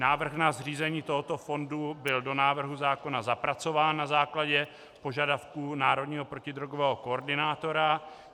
Návrh na zřízení tohoto fondu byl do návrhu zákona zapracován na základě požadavků národního protidrogového koordinátora.